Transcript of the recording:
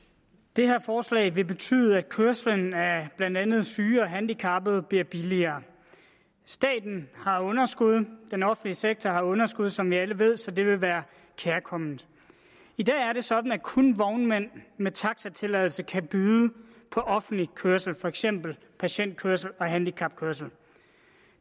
det her forslag vil betyde at kørslen af blandt andet syge og handicappede bliver billigere staten har underskud den offentlige sektor har underskud som vi alle ved så det vil være kærkomment i dag er det sådan at kun vognmænd med taxatilladelse kan byde på offentlig kørsel for eksempel patientkørsel og handicapkørsel